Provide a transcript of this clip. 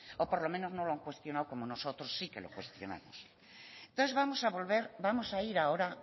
o por lo menos no lo ha cuestionado como nosotros sí que lo cuestionamos entonces vamos a vamos a volver vamos a ir ahora